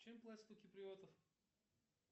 чем платят у киприотов